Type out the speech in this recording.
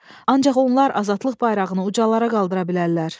Ancaq onlar azadlıq bayrağını ucalara qaldıra bilərlər.